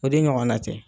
O de ɲɔgɔnna tɛ